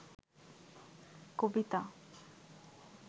কবিতা